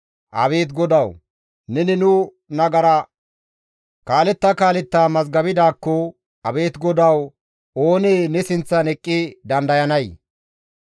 Abeet GODAWU! Neni nu nagara kaaletta kaaletta mazgabidaakko abeet Godawu oonee ne sinththan eqqi dandayanee?